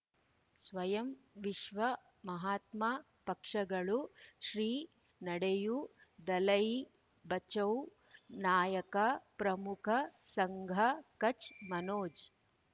ಸ್ವಯಂ ವಿಶ್ವ ಮಹಾತ್ಮ ಪಕ್ಷಗಳು ಶ್ರೀ ನಡೆಯೂ ದಲೈ ಬಚೌ ನಾಯಕ ಪ್ರಮುಖ ಸಂಘ ಕಚ್ ಮನೋಜ್